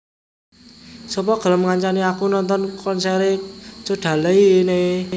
Sopo gelem ngancani aku nonton konsere Codaline?